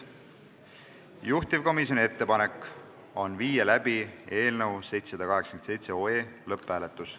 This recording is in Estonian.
Juhtivkomisjoni ettepanek on viia läbi eelnõu 787 lõpphääletus.